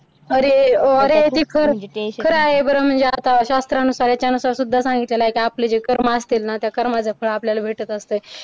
अरे खरं आहे म्हणजे आता शास्त्रानुसार यानुसार सुद्धा सांगितलेला आहे की आपले जे कर्म असतील ना त्या कर्माचे फळ आपल्याला भेटत असते.